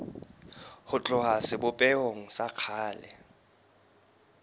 ho tloha sebopehong sa kgale